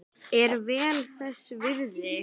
Er vel þess virði.